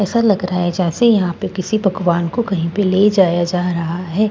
ऐसा लग रहा है जैसे यहां पे किसी पकवान को कहीं पे ले जाया जा रहा है किसी --